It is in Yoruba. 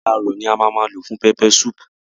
Ẹja àrọ̀ ni a má a má lò fún peppersoup.